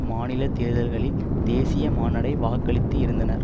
மாநில தேர்தல்களில் தேசிய மாநாடை வாக்களித்து இருந்தனர்